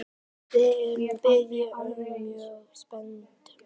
Við erum bæði mjög spennt.